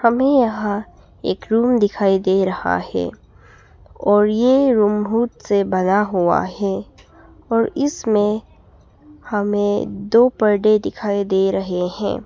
हमे यहां एक रूम दिखाई दे रहा है और ये रूम से बना हुआ है और इसमें हमें दो पर्दे दिखाई दे रहे है।